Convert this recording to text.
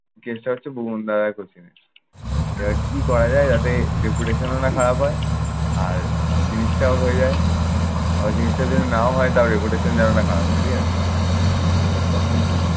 case টা হচ্ছে, ভুবনদাদাকেও চিনিস। এবার কি করা যায় যাতে না খারাপ হয়, আর জিনিসটাও হয়ে যায়। আবার জিনিসটা যেন নাও হয় তাও reputation যেন খারাপ না হয় ঠিক আছে? তো তখন